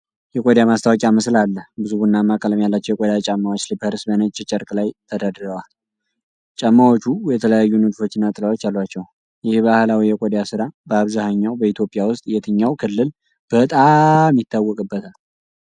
የቆዳ ማስታወቂያ ምስል አለ። ብዙ ቡናማ ቀለም ያላቸው የቆዳ ጫማዎች (Slippers) በነጭ ጨርቅ ላይ ተደርድረዋል። ጫማዎቹ የተለያዩ ንድፎችና ጥላዎች አሏቸው። ይህ ባህላዊ የቆዳ ሥራ በአብዛኛው በኢትዮጵያ ውስጥ የትኛው ክልል በጣም ይታወቅበታል?